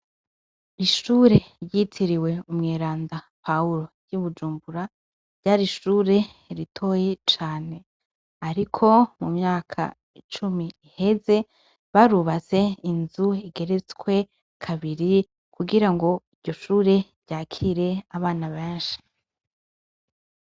Ishuri ryitiriwe umweranda Pawuro ryi Bujumbura ryari ishuri ritoyi cane ariko mu myaka icumi iheze barubatse inzu igeretswe kabiri kugirango iryo shuri ryakire abana beshi.